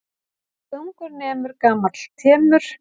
Hvað ungur nemur gamall temur.